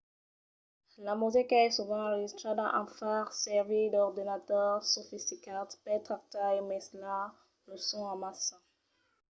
la musica es sovent enregistrada en far servir d'ordenadors sofisticats per tractar e mesclar los sons amassa